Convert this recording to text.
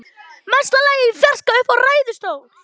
Mesta lagi í fjarska uppi í ræðustól.